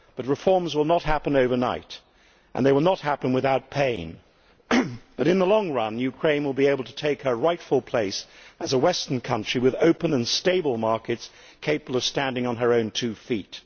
Reforms will not happen overnight and they will not happen without pain but in the long run Ukraine will be able to take her rightful place as a Western country, with open and stable markets, capable of standing on her own two feet.